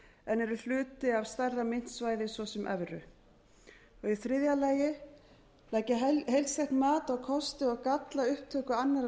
en eru hluti af stærra myntsvæði svo sem evru c leggja heildstætt mat á kosti og galla upptöku annarrar